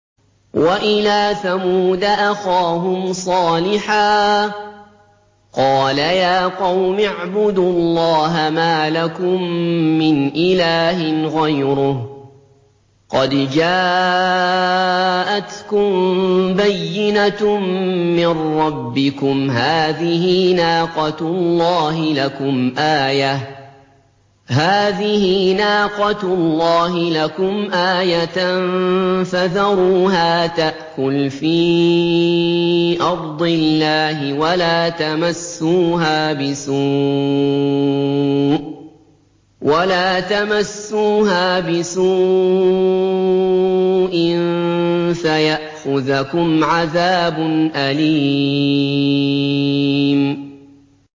وَإِلَىٰ ثَمُودَ أَخَاهُمْ صَالِحًا ۗ قَالَ يَا قَوْمِ اعْبُدُوا اللَّهَ مَا لَكُم مِّنْ إِلَٰهٍ غَيْرُهُ ۖ قَدْ جَاءَتْكُم بَيِّنَةٌ مِّن رَّبِّكُمْ ۖ هَٰذِهِ نَاقَةُ اللَّهِ لَكُمْ آيَةً ۖ فَذَرُوهَا تَأْكُلْ فِي أَرْضِ اللَّهِ ۖ وَلَا تَمَسُّوهَا بِسُوءٍ فَيَأْخُذَكُمْ عَذَابٌ أَلِيمٌ